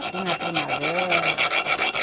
Assim, na primavera...